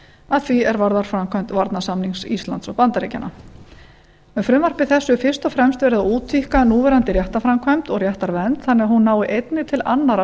að því er varðar framkvæmd varnarsamnings íslands og bandaríkjanna með frumvarpi þessu er fyrst og fremst verið að útvíkka núverandi réttarframkvæmd og réttarvernd þannig að hún nái einnig til annarra